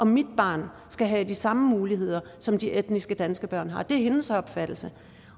mit barn skal have de samme muligheder som de etnisk danske børn har det er hendes opfattelse